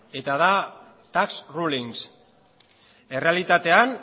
eta da tax rulings errealitatean